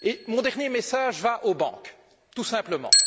Mon dernier message va aux banques, tout simplement.